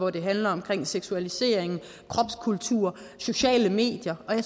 at det handler omkring seksualisering kropskultur sociale medier og jeg